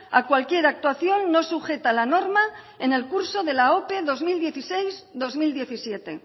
a cualquier actuación no sujeta a la norma en el curso de la ope bi mila hamasei bi mila hamazazpi